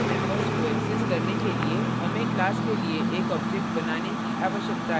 class के members को access करने के लिए हमें class के लिए एक object बनाने की आवश्यकता है